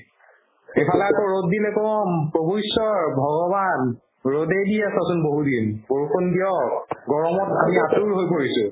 এইফালে আকৌ ৰ'দ দিলে কও প্ৰভু ঈশ্ৱৰ ভগৱান ৰ'দে দি আছাচোন বহুদিন বৰষুণ দিয়ক গৰমত আমি আতুৰ হৈ পৰিছো